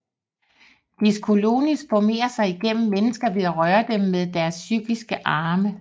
Diclonius formerer sig igennem mennesker ved at røre dem med deres psykiske arme